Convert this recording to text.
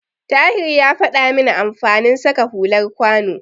Tahir ya faɗa min amfanin saka hular kwano.